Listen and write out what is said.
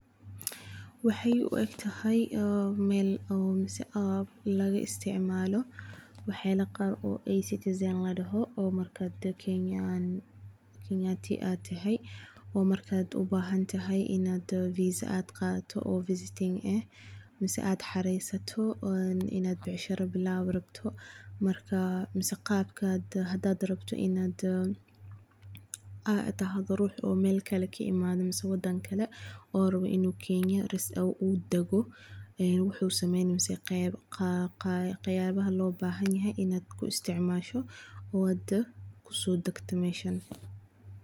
Waxaay u agtahay mal oo masah oo laga isticmalo waxana wax citizen ladaho oo marka dadka kenayanti atahay oo marka ubahantahay ina visa ad qadatoh visiting ah masah ad xarisotoh ina bacshiro bilawo rabtoh marka si qabka hadad rabtoh ina, atahay rux malkle ka imada masah wadankle oo raboh inu kenyada rasmi udago wuxu samayni masah qab qabaha lobahanyahay ina ku isticmasho kuso dagtoh masha.